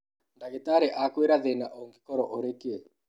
Ndagĩtarĩ akwĩra thĩna ũngĩkorwo ũrĩ kĩ?